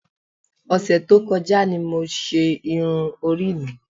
Ọ̀sẹ̀ tó kọjá ni mo ṣe irun orí mi.